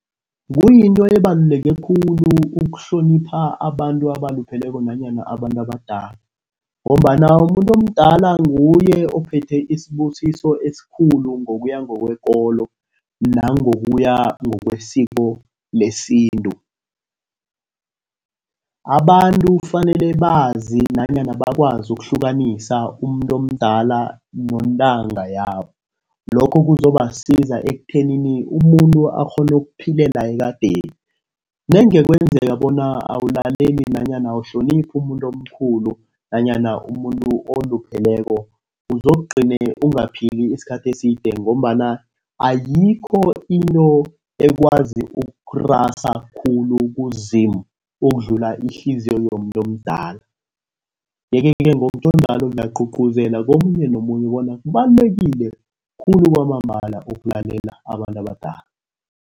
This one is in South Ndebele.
Kuyinto ebaluleke khulu ukuhlonipha abantu abalupheleko nanyana abantu abadala ngombana umuntu omdala nguye ophethe isibusiso esikhulu ngokuya ngokwekolo nangokuya ngokwesiko lesintu. Abantu kufanele bazi nanyana bakwazi ukuhlukanisa umuntu omdala nentanga yabo. Lokho kuzobasiza ekuthenini umuntu akghone ukuphilela ekadeni. Nange kwenzeka bona awulaleli nanyana awuhloniphi umuntu omkhulu nanyana umuntu olupheleko. Uzokugcine ungaphili isikhathi eside ngombana ayikho into ekwazi ukurasa khulu kuZimu ukudlula ihliziyo yomuntu omdala. Yeke-ke ngokunjalo ngiyaqhuqhuzela komunye nomunye bona kubalulekile khulu kwamambala ukulalela abantu abadala.